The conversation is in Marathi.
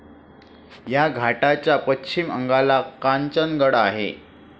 या घाटाच्या पश्चिम अंगाला कांचनगड आहे.